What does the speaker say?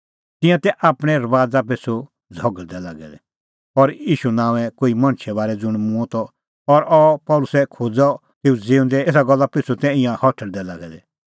तिंयां तै आपणैं रबाज़ा पिछ़ू झ़घल़दै लागै दै और ईशू नांओंए कोई मणछे बारै ज़ुंण मूंअ त और अह पल़सी खोज़ा तेऊ ज़िऊंदै एसा गल्ला पिछ़ू तै ईंयां हठल़दै लागै दै